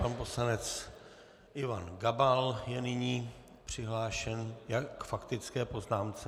Pan poslanec Ivan Gabal je nyní přihlášen k faktické poznámce.